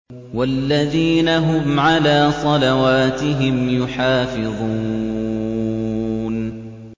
وَالَّذِينَ هُمْ عَلَىٰ صَلَوَاتِهِمْ يُحَافِظُونَ